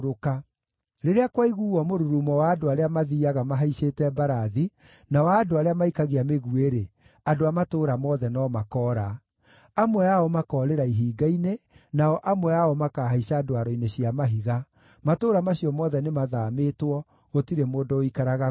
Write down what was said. Rĩrĩa kwaiguuo mũrurumo wa andũ arĩa mathiiaga mahaicĩte mbarathi na wa andũ arĩa maikagia mĩguĩ-rĩ, andũ a matũũra mothe no makoora. Amwe ao makoorĩra ihinga-inĩ, nao amwe ao makahaica ndwaro-inĩ cia mahiga. Matũũra macio mothe nĩmathaamĩtwo; gũtirĩ mũndũ ũikaraga kuo.